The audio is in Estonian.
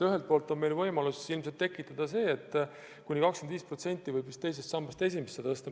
Ühelt poolt on meil võimalus ilmselt sekkuda nii, et kuni 25% võib vist teisest sambast esimesse tõsta.